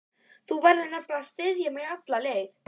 Þú verður nefnilega að styðja mig alla leið.